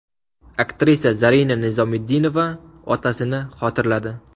Aktrisa Zarina Nizomiddinova otasini xotirladi.